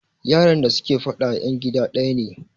yaran da suke fada yan gida daya ne